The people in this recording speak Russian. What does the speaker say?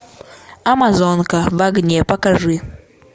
амазонка в огне покажи